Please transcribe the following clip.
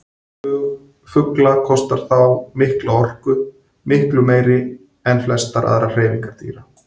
Flug fugla kostar þá mikla orku, miklu meiri en flestar aðrar hreyfingar dýra.